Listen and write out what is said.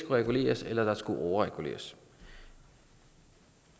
reguleres eller at der skulle overreguleres